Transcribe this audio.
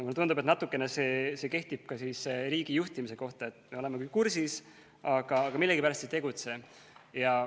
Mulle tundub, et natukene see kehtib ka riigijuhtimise kohta – me oleme küll kursis, aga millegipärast ei tegutse.